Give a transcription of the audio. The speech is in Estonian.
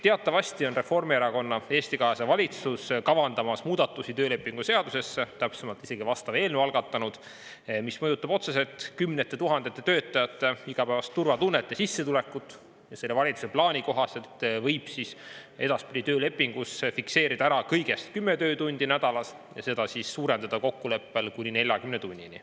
Teatavasti on Reformierakonna ja Eesti 200 valitsus kavandamas muudatusi töölepingu seadusesse, täpsemalt isegi vastava eelnõu algatanud, mis mõjutab otseselt kümnete tuhandete töötajate igapäevast turvatunnet ja sissetulekut, mis selle valitsuse plaani kohaselt võib edaspidi töölepingus fikseerida ära kõigest 10 töötundi nädalas ja seda suurendada kokkuleppel kuni 40 tunnini.